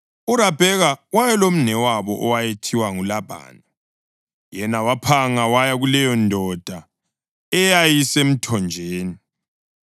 URabheka wayelomnewabo owayethiwa nguLabhani, yena waphanga waya kuleyondoda eyayisemthonjeni.